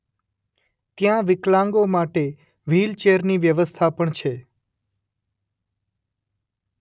ત્યાં વિકલાંગો માટે વ્હીલ ચેરની વ્યવસ્થા પણ છે.